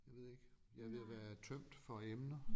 Jeg ved ikke jeg er ved at være tømt for emner